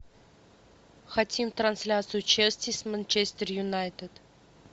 хотим трансляцию челси с манчестер юнайтед